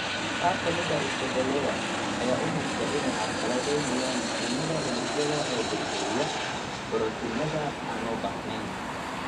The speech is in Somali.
Qaar ka mid ah isbeddellada ayaa u muuqda inay carqaladeynayaan mishiinnada unugyada ee burburiya (hoos u dhiga) borotiinnada aan loo baahnayn.